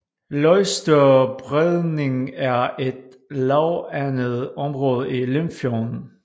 Løgstør Bredning er et lavvandet område i Limfjorden